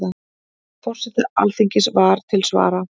Forseti Alþingis var til svara.